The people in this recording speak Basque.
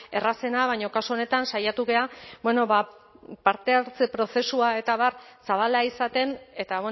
errazena baina kasu honetan saiatu gara ba parte hartze prozesua eta abar zabala izaten eta